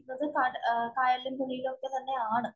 എന്നിട്ടും കായലിലും, പുഴയിലും ഒക്കെ തന്നെയാണ്.